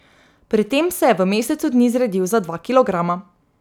Pri tem se je v mesecu dni zredil za dva kilograma.